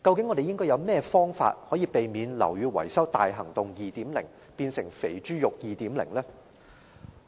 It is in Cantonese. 我們究竟有何辦法，可以避免"樓宇更新大行動 2.0" 變成"肥豬肉 2.0" 呢？